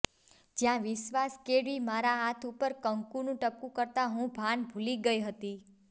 જ્યાં વિશ્વાસ કેળવી મારા હાથ ઉપર કંકુનું ટપકું કરતાં હું ભાન ભૂલી ગઇ હતી